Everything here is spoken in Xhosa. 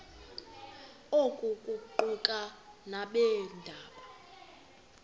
oku kuquka nabeendaba